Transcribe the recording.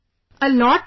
A lot sir